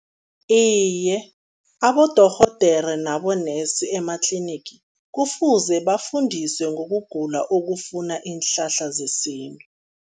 Iye, abodorhodere nabo-nurse ematlinigi kufuze bafundiswe ngokugula okufuna iinhlahla zesintu.